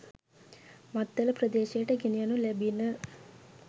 මත්තල ප්‍රදේශයට ගෙන යනු ලැබිණ.